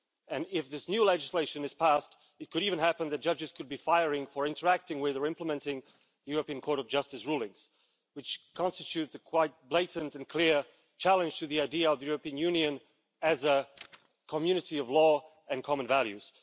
And if this new legislation is passed, it could even happen that judges could be fired for interacting with or implementing the European Court of Justice rulings, which constitutes quite a blatant and clear challenge to the idea of the European Union as a community of law and common values.